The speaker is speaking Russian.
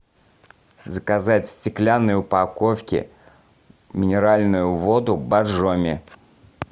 заказать в стеклянной упаковке минеральную воду боржоми